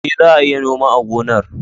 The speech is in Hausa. E, za a iya noma a gonar